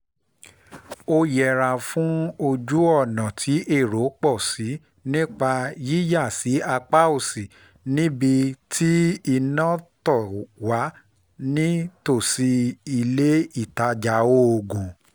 ó yẹra fún ojú-ọ̀nà tí èrò pọ̀ sí nípa yíyà sí apá òsì níbi iná tó wà nítòsí ilé-ìtajà oògùn